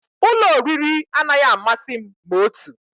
Ụlọ oriri anaghị amasị m ma otu